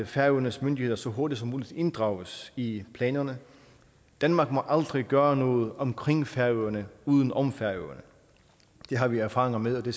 færøernes myndigheder så hurtigt som muligt inddrages i planerne danmark må aldrig gøre noget omkring færøerne uden om færøerne det har vi erfaringer med at